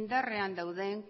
indarrean dauden